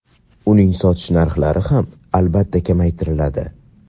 uni sotish narxi ham albatta kamaytiriladi.